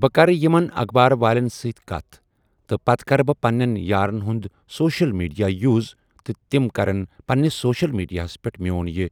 بہٕ کَرٕ یِمَن اخبار والٮ۪ن سۭتۍ کَتھ تہٕ کَرٕ بہٕ پَننٮ۪ن یارَن ہُنٛد سوشَل میٖڈیا یوٗز تِم کٔر تِم کَرن تِم کَرن نہٕ پننس سوشَل میٖڈیاہَس پٮ۪ٹھ میون یہِ